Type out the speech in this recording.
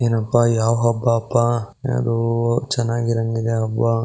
ಏನೋ ಪಾ ಯಾವ್ ಹಬ್ಬಾ ಪಾ. ಯಾವ್ದೋ ಚೆನ್ನಾಗಿರೋಹಂಗ್ ಇದೆ ಹಬ್ಬಾ.